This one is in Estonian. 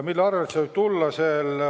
Mille arvel see võib tulla?